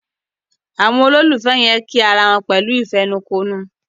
Àwọn ololufẹ yen kí àrà wón pẹ̀lú ìfẹnukonu.